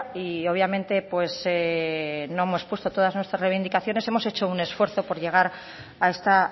y obviamente no hemos puesto todas nuestras reivindicaciones hemos hecho un esfuerzo por llegar a esta